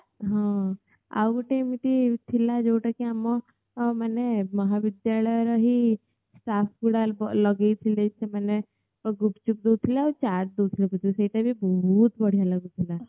ଆଉ ଗୋଟେ ଏମିତି ଥିଲା ଆମର ଯୋଉଟା କି ଆମ ମାନେ ମହାବିଦ୍ୟାଳୟର ହିଁ ଲଗଉଥିଲେ ଗୁପୁଚୁପ ଦଉଥିଲେ ଆଉ ଚାଟ୍ ଦଉଥିଲେ ଆଉ ସେଇଟା ବି ବହୁତ ବଢିଆ ଲାଗୁଥିଲା